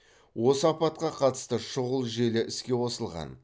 осы апатқа қатысты шұғыл желі іске қосылған